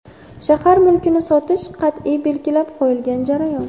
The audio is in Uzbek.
Shahar mulkini sotish qat’iy belgilab qo‘yilgan jarayon.